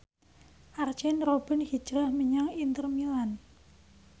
Arjen Robben hijrah menyang Inter Milan